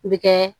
U bɛ kɛ